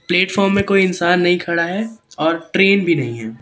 Platform में कोई इंसान नहीं खड़ा है। और ट्रेन भी नहीं है।